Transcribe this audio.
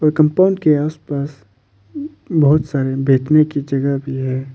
Compound के आस पास बहुत सारी बैठने की जगह भी है।